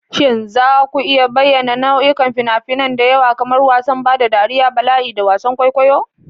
Shin za ku iya bayyana nau'ikan fina-finai da yawa, kamar wasan ban dariya, bala'i, da wasan kwaikwayo?